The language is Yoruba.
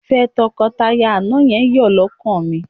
Ìfẹ́ tọkọtaya àná yẹn yọ́ lọ́kàn mi